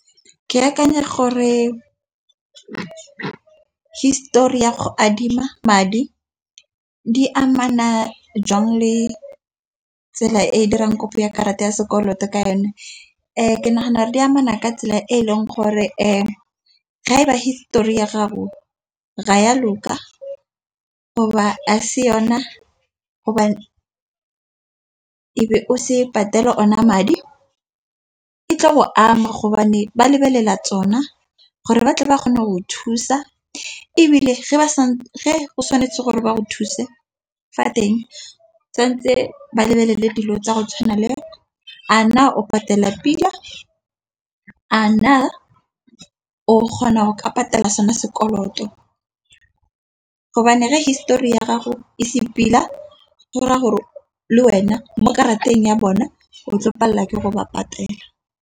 Ke akanya gore histori ya go adima madi, di amana jang le tsela e dirang kopo ya karata ya sekoloto ka yone. Ke nagana di amana ka tsela e e leng gore ga ba histori ya gago ga ya loka go ba a se yona, gobane e be o se patela ona madi. E tlo o ama gobane ba lebelela tsona gore ba tle ba kgone go thusa, ebile ga ba sa ge o tshwanetse gore ba go thuse fa teng tshwantse ba lebelele dilo tsa go tshwana le a na o patela pila, a na o kgona go ka patela sona sekoloto. Gobane ga histori ya gago e se pila gore a gore le wena mo karateng ya bone o tlo ke go ba patela.